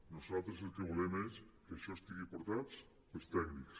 nosaltres el que volem és que això estigui portat pels tècnics